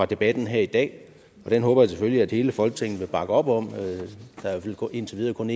debatten her i dag og det håber jeg selvfølgelig at hele folketinget vil bakke op om der er indtil videre kun